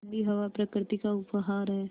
ठण्डी हवा प्रकृति का उपहार है